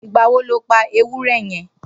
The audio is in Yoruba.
Nigbà wò ló pà éwùrè yèn?